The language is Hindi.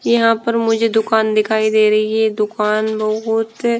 यहाँ पर मुझे दुकान दिखाई दे रही है दुकान बहुत --